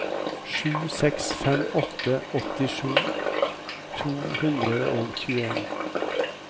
sju seks fem åtte åttisju to hundre og tjueen